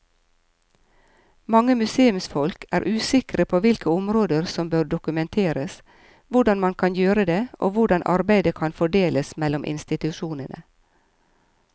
Mange museumsfolk er usikre på hvilke områder som bør dokumenteres, hvordan man kan gjøre det og hvordan arbeidet kan fordeles mellom institusjonene.